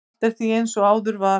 Allt er því eins og áður var.